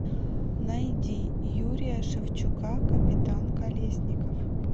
найди юрия шевчука капитан колесников